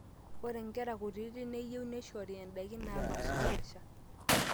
ore inkera kutitik neyie neishori ndaiki naapaashipaasha